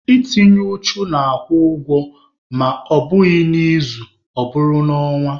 Itinye uchu na-akwụ ụgwọ ma ọ bụghị n'izu, ọ bụrụ n'ọnwa.